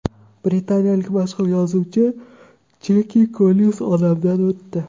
Britaniyalik mashhur yozuvchi Jeki Kollinz olamdan o‘tdi .